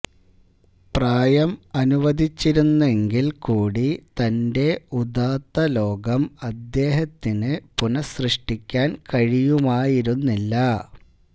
പ്രായം അനുവദിച്ചിരുന്നെങ്കിൽ കൂടി തന്റെ ഉദാത്ത ലോകം അദ്ദേഹത്തിന് പുനഃസൃഷ്ടിക്കുവാൻ കഴിയുമായിരുന്നില്ല